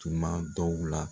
Tuma dɔw la.